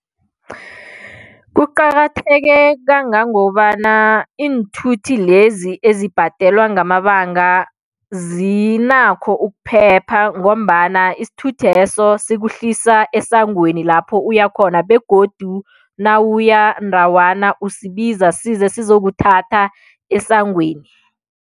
Kuqakatheke kangangobana iinthuthi lezi ezibhadelwa ngamabanga zinakho ukuphepha ngombana isithuthi leso sikuhlisa esangweni lapho uya khona begodu nawuya ndawana usibiza size sizokuthatha esangweni.